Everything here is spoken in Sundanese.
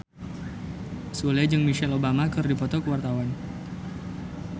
Sule jeung Michelle Obama keur dipoto ku wartawan